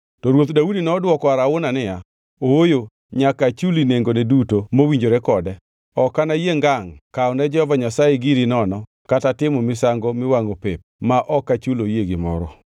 To Ruoth Daudi nodwoko Arauna niya, “Ooyo, nyaka achuli nengone duto mowinjore kode.” Ok anayie ngangʼ kawo ne Jehova Nyasaye giri nono kata timo misango miwangʼo pep ma ok achuloe gimoro.